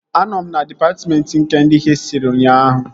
Anọ m na dịpatmentị nke ndị hịstrị ụnyaahụ